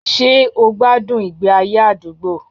Ṣé o gbádùn ìgbé ayé àdúgbò?